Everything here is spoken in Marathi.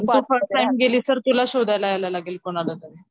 तू फर्स्ट टाइम गेली तर तुला शोधायला यायला लागेल कोणाला तरी.